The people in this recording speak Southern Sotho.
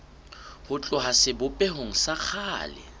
ho tloha sebopehong sa kgale